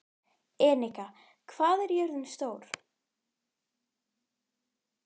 Enika, hvað er jörðin stór?